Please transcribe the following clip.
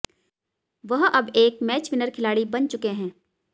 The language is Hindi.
वह अब एक मैच विनर खिलाड़ी बन चुके हैं